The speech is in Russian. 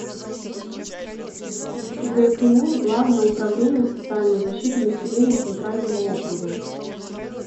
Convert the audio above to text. гку главное управление социальной защиты населения центрального округа